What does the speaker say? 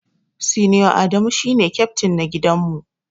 Senior Adamu shine kyaftin na gidan mu.